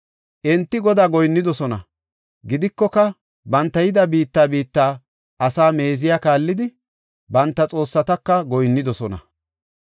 Enti Godaa goyinnidosona; gidikoka, banta yida biitta biitta asaa meeziya kaallidi, banta xoossataka goyinnidosona.